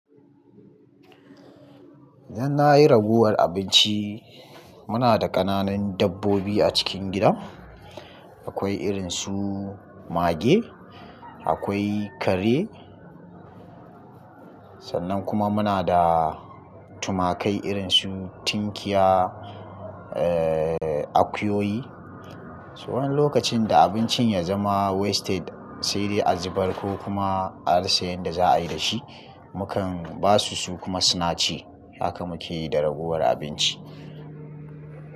Idan na yi ragowar abinci, muna da ƙananan dabbobi a cikin gida. Akwai irin su mage, akwai kare. Sannan kuma muna da tumakai irin su tinkiya, eh, akuyoyi. To, wani lokacin da abincin ya zama wasted sai dai a zubar ko kuma a rasa yanda za a yi da shi, mukan ba su su kuma su nace. Haka muke yi da ragowar abinci.